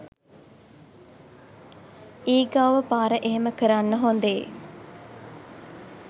ඊගාව පාර එහෙම කරන්න හොඳේ